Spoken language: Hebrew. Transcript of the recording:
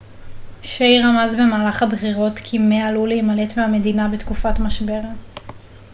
שיי רמז במהלך הבחירות כי מא עלול להימלט מהמדינה בתקופת משבר